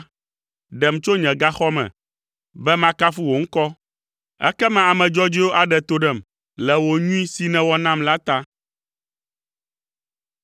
Ɖem tso nye gaxɔ me, be makafu wò ŋkɔ. Ekema ame dzɔdzɔewo aɖe to ɖem, le wò nyui si nèwɔ nam la ta.